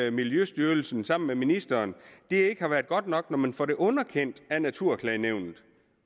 i miljøstyrelsen sammen med ministeren ikke har været godt nok når man får det underkendt af natur